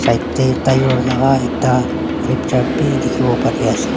right teh tyre laga ekta flipture bhi dikhio pari ase.